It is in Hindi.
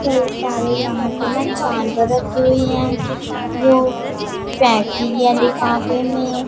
कई सारे यहां पे ना जानवर रखी हुई है जो पैकिंग या लिफाफे में--